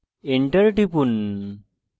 enter টিপুন